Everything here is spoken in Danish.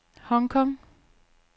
Hong Kong